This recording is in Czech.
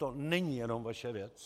To není jenom vaše věc.